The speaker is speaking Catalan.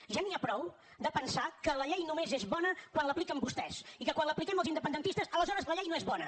ja n’hi ha prou de pensar que la llei només és bona quan l’apliquen vostès i que quan l’apliquem els independentistes aleshores la llei no és bona